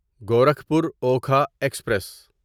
Gorakhpur Okha express